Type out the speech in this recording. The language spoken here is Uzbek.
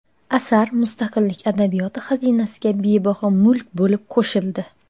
asar mustaqillik adabiyoti xazinasiga bebaho mulk bo‘lib qo‘shildi.